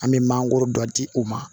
An bɛ mangoro dɔ di u ma